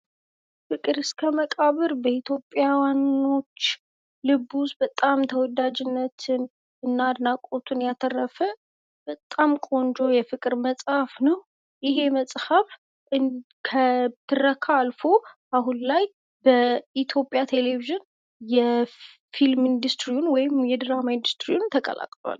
ፍቅር እስከ መቃብር በኢትዮጵያዋናዎች ልብ ውስጥ በጣም ተወዳጅነትና አድናቆትን ያተርፍ በጣም ቆንጆ የፍቅር መጽሐፍ ነው። ይህ መጽሐፍ ከትረካ አልፎ አሁን ላይ በኢትዮጵያ ቴሌቪዥን የፊልም ኢንዱስትሪ ወይም የድራማ ኢንዱስትሪውን ተቀላቅላል።